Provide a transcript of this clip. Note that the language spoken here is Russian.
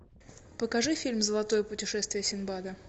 покажи фильм золотое путешествие синдбада